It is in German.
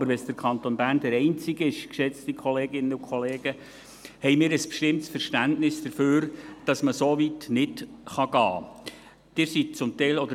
Aber wenn der Kanton Bern der einzige ist, geschätzte Kolleginnen und Kollegen, haben wir ein bestimmtes Verständnis dafür, dass man nicht so weit gehen kann.